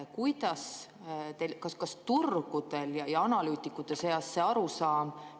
Kas turgudel ja analüütikute seas ikka on arusaam,?